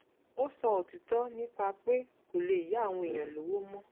ó sọ òtítọ́ nípa pé kò lè yá àwọn èèyàn lọ́wọ́ mọ́